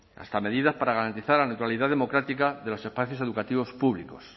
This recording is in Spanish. hasta medidas para garantizar la neutralidad democrática de los espacios educativos públicos